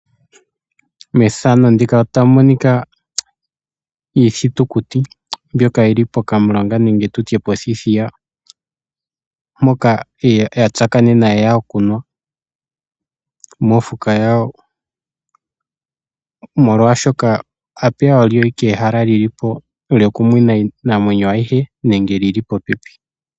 Methano ndika otamu monika iithitukuti mbyoka yili pokamulonga nenge tutye pothiithiya , mpoka ya tsakanena yeya okunwa mofuka yawo molwaashoka , apeya olyo ike ehala lilipo lyoku mwina iinamwenyo ayihe nenge lili popepi .